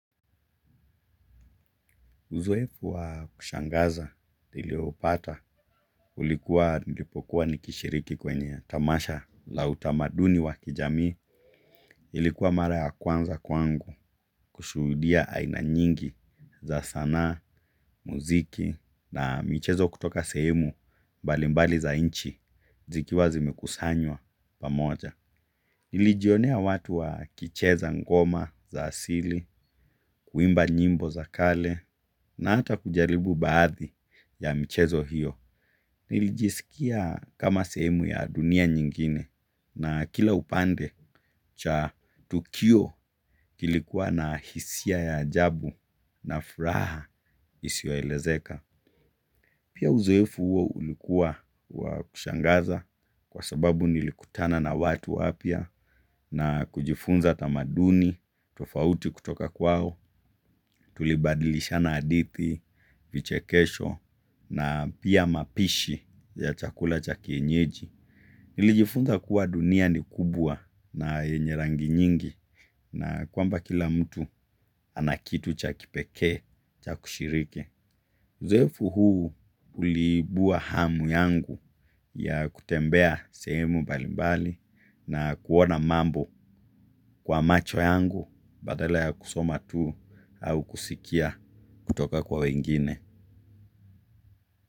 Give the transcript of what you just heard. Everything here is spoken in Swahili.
Uzoefu wa kushangaza niliopata ulikuwa nilipokuwa nikishiriki kwenye tamasha la utamaduni wa kijamii ilikuwa mara ya kwanza kwangu kushuhudia aina nyingi za sanaa mziki na michezo kutoka sehemu mbalimbali za nchi zikiwa zimekusanywa pamoja. Nilijionea watu wakicheza ngoma za asili kuimba nyimbo za kale na hata kujaribu baadhi ya michezo hiyo. Nilijiskia kama sehemu ya dunia nyingine na kila upande cha tukio kilikuwa na hisia ya ajabu na furaha isiyo elezeka. Pia uzoefu huo ulikuwa wa kushangaza kwa sababu nilikutana na watu wapya na kujifunza tamadani tofauti kutoka kwao tulibadilishana hadithi, vichekesho na pia mapishi ya chakula cha kienyeji. Nilijifunza kuwa dunia ni kubwa na yenye rangi nyingi na kwamba kila mtu anakitu cha kipekee, cha kushiriki. Uzoefu huu uliibua hamu yangu ya kutembea sehemu mbalimbali na kuona mambo kwa macho yangu badala ya kusoma tu au kusikia kutoka kwa wengine.